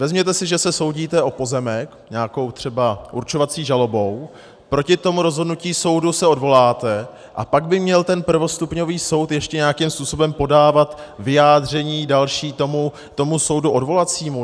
Vezměte si, že se soudíte o pozemek nějakou třeba určovací žalobou, proti tomu rozhodnutí soudu se odvoláte, a pak by měl ten prvostupňový soud ještě nějakým způsobem podávat vyjádření další tomu soudu odvolacímu?